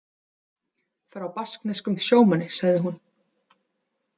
Frá baskneskum sjómanni, sagði hún.